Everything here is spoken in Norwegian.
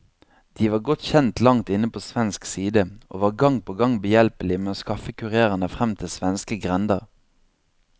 De var godt kjent langt inne på svensk side, og var gang på gang behjelpelig med å skaffe kurerene frem til svenske grender.